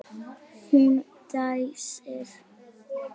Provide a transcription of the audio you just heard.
Hún dæsir.